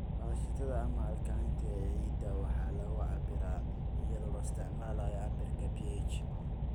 Aashitada ama alkalinity ee ciidda waxa lagu cabbiraa iyadoo la isticmaalayo cabbirka pH.